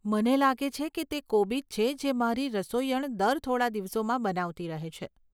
મને લાગે છે કે તે કોબીજ છે જે મારી રસોઈયણ દર થોડા દિવસોમાં બનાવતી રહે છે.